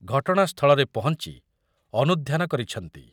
ଘଟଣା ସ୍ଥଳରେ ପହଞ୍ଚି ଅନୁଧ୍ୟାନ କରିଛନ୍ତି